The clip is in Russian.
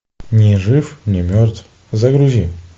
ни жив ни мертв загрузи